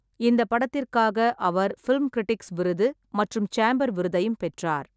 இந்தப் படத்திற்காக அவர் ஃபிலிம் கிரிட்டிக்ஸ் விருது மற்றும் சேம்பர் விருதையும் பெற்றார்.